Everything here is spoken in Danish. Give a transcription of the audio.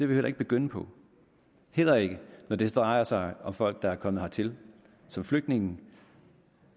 vi heller ikke begynde på heller ikke når det drejer sig om folk der er kommet hertil som flygtninge